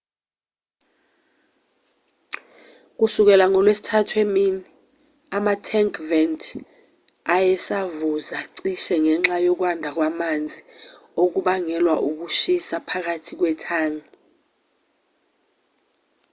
kusukela ngolwesithathu emini ama-tank vent ayesavuza cishe ngenxa yokwanda kwamanzi okubangelwa ukushisa phakathi kwethangi